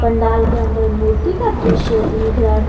पंडाल के अंदर मूर्ति का दृश्य दिख रहा है।